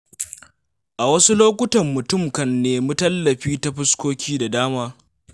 A wasu lokutan mutum kan nemi tallafi ta fuskoki da dama.